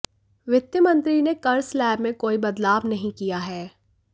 वित्त मंत्री ने कर स्लैब में कोई बदलाव नहीं किया है